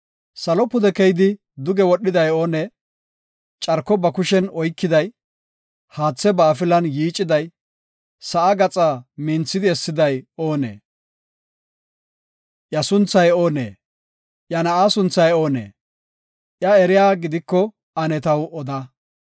Salo pude keyidi duge wodhiday oonee? Carko ba kushen oykiday, haathe ba afilan yiiciday, sa7aa gaxaa minthidi essiday oonee? Iya sunthay oonee? Iya na7aa sunthay oonee? Iya eriya gidiko ane taw oda?